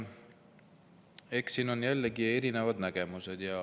Eks siin ole jällegi erinevad nägemused.